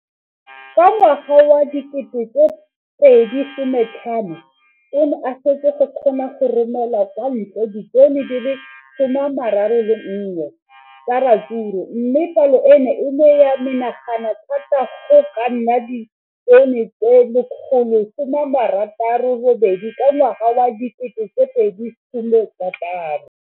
Ka ngwaga wa 2015, o ne a setse a kgona go romela kwa ntle ditone di le 31 tsa ratsuru mme palo eno e ne ya menagana thata go ka nna ditone di le 168 ka ngwaga wa 2016.